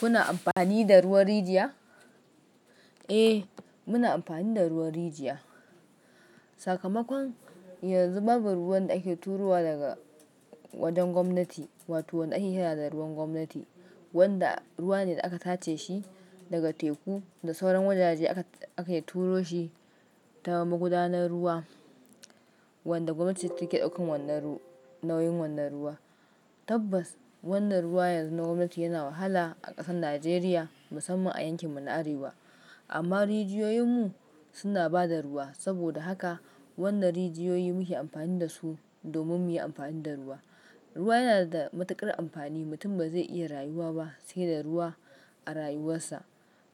Kuna amfani da ruwan rijiya? Eh, muna amfani da ruwan rijiya. Sakamakon, yanzu babu ruwan da ake turowa daga wajen gwamnati, wato wanda ake kira da ruwan gwamnati, wanda ruwa ne da aka tace shi daga teku da sauran wajaje aka, aka turo shi ta magudanar ruwa wanda gwamnati ce take ɗaukan wannan ru-- nauyin wannan ruwa. Tabbas, wannan ruwa yanzu na gwamnati yana wahala a ƙasar Najeriya, musamman a yankinmu na Arewa. Amma rijiyoyinmu suna ba da ruwa. Saboda haka wannan rijiyoyi muke amfani da su domin mu yi amfani da ruwa. Ruwa yana da matuƙar amfani. Mutum ba zai iya rayuwa ba sai da ruwa a rayuwarsa.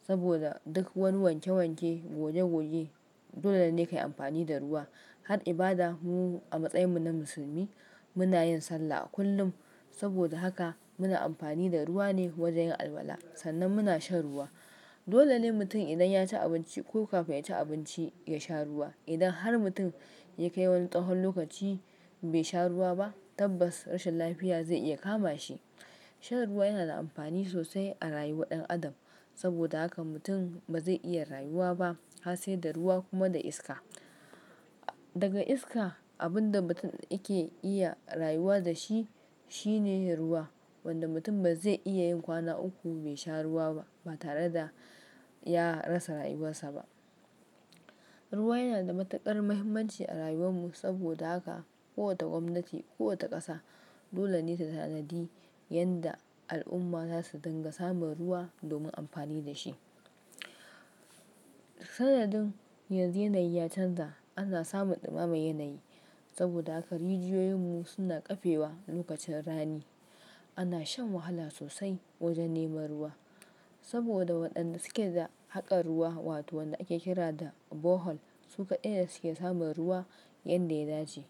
Saboda duk wani wanke wanke, goge goge, dole ne ka yi amfani da ruwa. Har ibada, mu a matsayinmu na musulmi muna yin sallah kullum. Saboda haka muna amfani da ruwa ne wajen yin albala. Sannan muna shan ruwa. Dole ne mutum idan ya ci abinci ko kafin ya ci abinci, ya sha ruwa. Idan har mutum ya kai wani tsahon lokaci bai sha ruwa ba, tabbas rashin lafiya zai iya kama shi. Shan ruwa yana da amfani sosai a rayuwar ɗan adam. Saboda haka mutum ba zai iya rayuwa ba har sai da ruwa kuma da iska. Daga iska, abin da mutum yake iya rayuwa da shi shine ruwa. Wanda mutum ba zai iya yin kwana uku bai sha ruwa ba, ba tare da ya rasa rayuwarsa ba. Ruwa yana da matuƙar muhimmanci a rayuwanmu saboda haka kowace gwamnati, kowace ƙasa dole ne ta sanadi yadda al'umma za su danganta samun ruwa domin amfani da shi. Sanadin yanzu yanayi ya canza, ana samun ɗumame yanayi. Saboda haka rijiyoyinmu suna ƙafe wa lokacin rani. Ana shan wahala sosai wajen neman ruwa saboda waɗanda suke da haƙar ruwa, wato waɗanda ake kira da Bohol, su kaɗai ne suke samun ruwa yadda ya dace.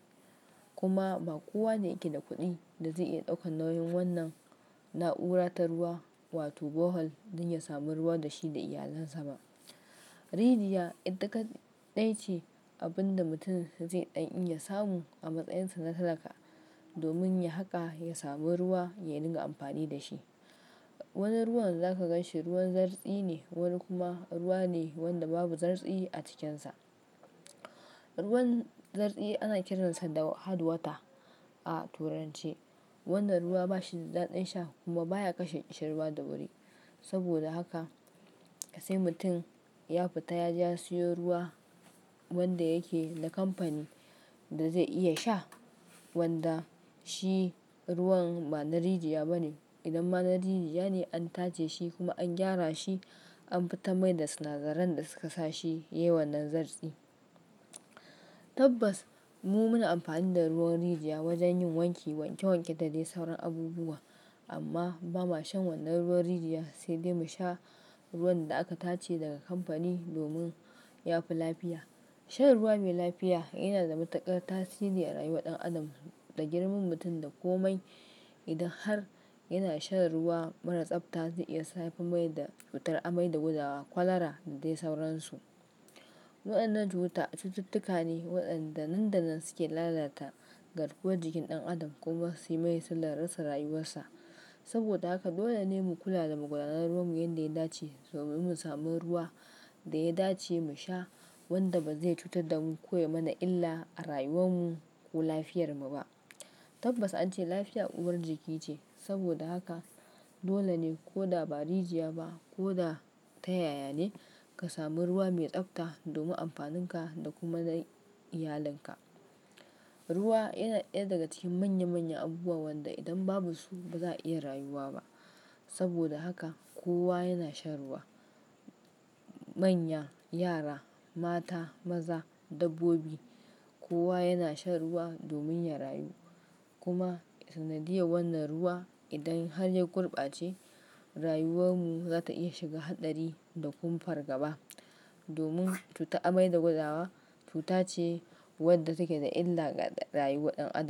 Kuma ba kowa ne yake da kuɗin da zai iya ɗaukan nauyin wannan na'ura ta ruwa, wato Bohol, don ya samu ruwa da shi da iyalinsa ba. Rijiya ita kaɗa ice abin da mutum zai daniya samu a matsayinsa na talaka domin ya haƙa, ya samu ruwa ya dinga amfani da shi. Wani ruwan za ka ganshi ruwan zartsi ne, wani kuma ruwa ne wanda babu zartshe a cikinsa. Ruwan zartsi ana kiransa da "hard water" a Turanci. Wannan ruwa ba shi da daɗin sha kuma baya kashe ƙishirwa da wuri. Saboda haka sai mutum ya fita ya je ya siyo ruwa wanda yake da kamfani da zai iya sha, wanda shi ruwan ba na rijiya ba ne. Idan ma na rijiya ne, an tace shi kuma an gyara shi, an fita mai da sinadaran da suka sa shi yayi wannan zartshe. Tabbas mu muna amfani da ruwan rijiya wajen yin wanki, wanke wanke da dai sauran abubuwa. Amma ba ma shan wannan ruwan rijiya, sai dai mu sha ruwan da aka tace daga kamfani domin ya fi lafiya. Shan ruwa mai lafiya yana da matuƙar tasiri a rayuwar ɗan adam. Da girman mutum da komai, idan har yana shan ruwa mara tsabta zai iya sa ya fi mai da cutar amai da gudawa kwalara da dai sauransu. Waɗannan cuta cututtuka ne waɗanda nan da nan suke lalata garkuwar jikin ɗan adam kuma su yi mai sallar rasa rayuwarsa. Saboda haka dole ne mu kula da magudanar ruwanmu yadda ya dace domin mu sami ruwa da ya dace mu sha wanda ba zai cutar da mu ko ya mana illa a rayuwanmu ko lafiyarmu ba. Tabbas an ce lafiya uwar jiki ce. Saboda haka dole ne ko da ba rijiya ba ko da ta yaya ne, ka sami ruwa mai tsabta domin amfaninka da kuma na iyalinka. Ruwa yana ɗaya daga cikin manya manyan abubuwa wanda idan babu su ba za a iya rayuwa ba. Saboda haka kowa yana shan ruwa. Manya, yara, mata, maza, dabbobi, kowa yana shan ruwa domin ya rayu. Kuma sanadiyar wannan ruwa idan har ya kurɓace rayuwanmu za ta iya shiga haɗari da kuma fargaba domin cutar amai da gudawa cuta ce wadda take da illa ga rayuwar ɗan adam.